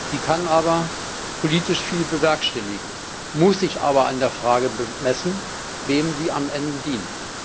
Sie kann politisch viel bewerkstelligen, muss sich aber an der Frage bemessen, wem sie am Ende dient.